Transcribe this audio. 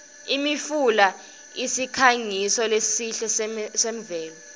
imfula usikhangiso lesihle semvelo